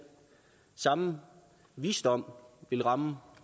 samme visdom vil ramme